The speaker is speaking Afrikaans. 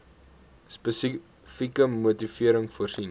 spesifieke motivering voorsien